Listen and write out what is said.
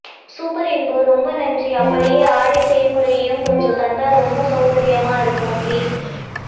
super info ரெம்ப நன்றி அப்புடியே ஆடை செய் முறையையும் கொஞ்சம் தாந்தா ரெம்ப சௌகர்யமா இருக்கும் ப்ளீஸ்